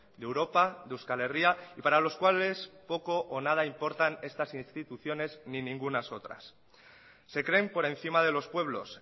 de europa de euskal herria y para los cuales poco o nada importan estas instituciones ni ningunas otras se creen por encima de los pueblos